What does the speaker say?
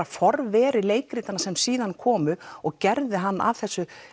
forveri leikritanna sem síðan komu og gerði hann að þessu